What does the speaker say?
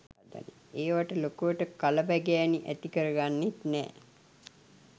ඒවට ලොකුවට කලබැගෑනි ඇතිකරගන්නෙත් නෑ